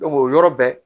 o yɔrɔ bɛɛ